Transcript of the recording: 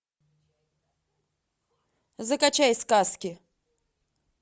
закачай сказки